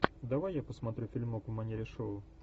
давай я посмотрю фильмок в манере шоу